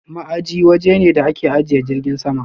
Ma'aji waje ne da ake ajiye jirgin sama.